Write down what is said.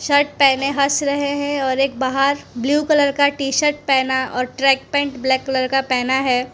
Shirt पहने हँस रहे हैं और एक बाहर ब्लू कलर का टी शर्ट पहना और ट्रैक पैंट ब्लैक कलर का पहना है।